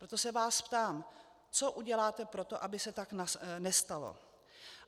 Proto se vás ptám, co uděláte pro to, aby se tak nestalo.